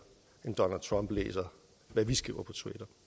end donald trump læser hvad vi skriver på twitter